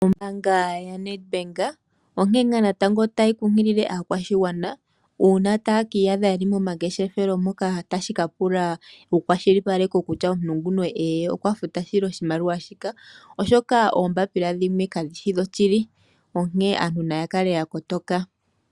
Ombaanga yaNedbank onkene nga natango tayi kunkilile aakwashigwana una taye kiiyadha yeli momangeshefelo moka tashi kapula wukwashilipaleke kutya omuntu nguka "ee" okwafuta shili oshimaliwa shika, oshoka oombapila dhimwe kadhi shi dho shili onkene aantu naya kale ya kotoka.